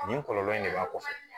Nin kɔlɔlɔ in de b'a kɔfɛ